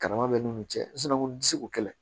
Karama bɛ n'u cɛ nsonsuko kɛlɛ